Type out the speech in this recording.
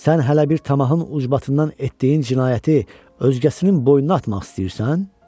Sən hələ bir tamahın ucbatından etdiyin cinayəti özgəsinin boynuna atmaq istəyirsən?